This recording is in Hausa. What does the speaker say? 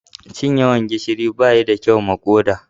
Cin yawan gishiri ba yi kyau ma koda.